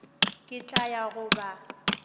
ke tla ya go ba